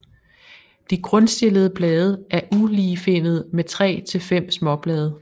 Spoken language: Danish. De grundstillede blade er uligefinnede med 3 til 5 småblade